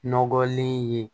Nɔgɔlen ye